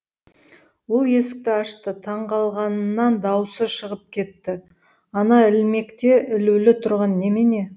ол есікті ашты таңғалғаннан дауысы шығып кетті ана ілмекте ілулі тұрған немене